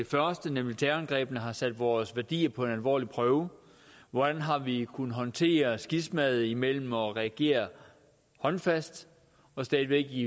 første nemlig terrorangrebene har sat vores værdier på en alvorlig prøve hvordan har vi kunnet håndtere skismaet mellem at regere håndfast og stadig væk